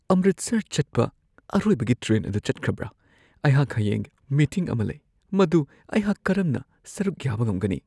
ꯑꯃꯔꯤꯠꯁꯔ ꯆꯠꯄ ꯑꯔꯣꯏꯕꯒꯤ ꯇ꯭ꯔꯦꯟ ꯑꯗꯨ ꯆꯠꯈ꯭ꯔꯕ꯭ꯔꯥ? ꯑꯩꯍꯥꯛ ꯍꯌꯦꯡ ꯃꯤꯇꯤꯡ ꯑꯃ ꯂꯩ, ꯃꯗꯨ ꯑꯩꯍꯥꯛ ꯀꯔꯝꯅ ꯁꯔꯨꯛ ꯌꯥꯕ ꯉꯝꯒꯅꯤ?